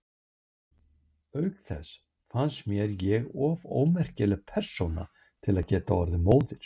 Auk þess fannst mér ég of ómerkileg persóna til að geta orðið móðir.